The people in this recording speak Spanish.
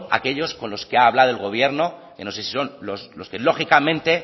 aquellos con los que ha hablado el gobierno que no sé si son los que lógicamente